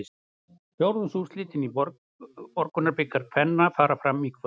Fjórðungsúrslitin í Borgunarbikar kvenna fara fram í kvöld.